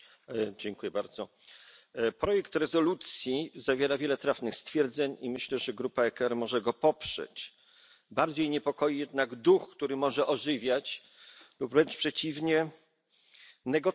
Pani Przewodnicząca! Projekt rezolucji zawiera wiele trafnych stwierdzeń i myślę, że grupa ECR może go poprzeć. Bardziej niepokoi jednak duch, który może ożywiać, lub wręcz przeciwnie, negocjacje.